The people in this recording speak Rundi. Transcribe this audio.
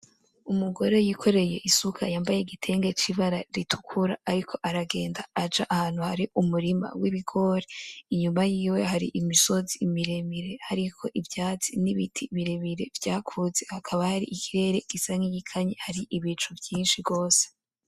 Umugore yikoreye isuka yambaye igitenge cibara ritukura ariko aragenda aja ahantu hari umurima wibigori, imyuma yiwe hari imisozi mire mire hariko ivyatsi nibiti birebire vyakuze, hakaba hari ikirere gisa nkigikanye haribicu vyinshi gose.